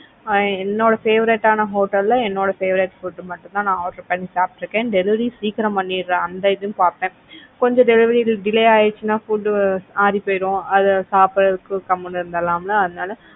ஆஹ் என்னோட favorite ஆன hotel லில் என்னோட favorite ஆன food மட்டும் தான் நான் order பண்ணி சாப்பிட்டு இருக்கேன் delivery சீக்கிரம் பண்ணிடுற அந்த இதும் பாப்பேன் கொஞ்சம் delivery delay ஆயிடுச்சின்னா food ஆறி போயிடும் அதை சாப்பிடறதுக்கு கம்முனு இருந்திடலாம் இல்ல அதனால